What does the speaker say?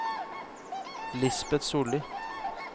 Lisbet Solli